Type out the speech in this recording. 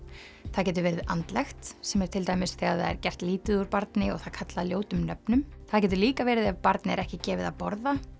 það getur verið andlegt sem er til dæmis þegar það er gert lítið úr barni og það kallað ljótum nöfnum það getur líka verið ef barni er ekki gefið að borða